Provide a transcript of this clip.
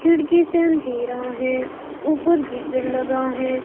खिड़की से अंधेरा है ऊपर गीजर लगा है.